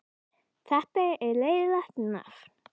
Magnús Hlynur Hreiðarsson: Borðarðu mikið af jarðarberjum sjálfur?